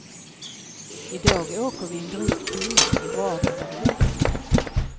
I dag åker vi en dryg timme i vardera riktningen.